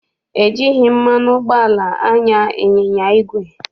E jighị mmanụ ụgbọala anya ịnyịnya igwe.